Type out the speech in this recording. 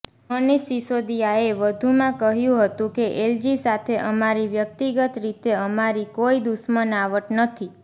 મનીષ સિસોદિયાએ વધુંમાં કહ્યું હતું કે એલજી સાથે અમારી વ્યક્તિગત રીતે અમારી કોઈ દુશ્મનાવટ નથી